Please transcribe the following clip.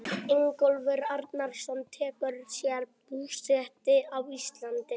Ingólfur Arnarson tekur sér búsetu á Íslandi.